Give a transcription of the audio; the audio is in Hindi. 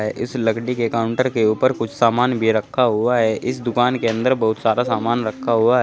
इस लकड़ी के काउंटर के ऊपर कुछ सामान भी रखा हुआ है इस दुकान के अंदर बहुत सारा सामान रखा हुआ है।